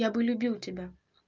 я бы любил тебя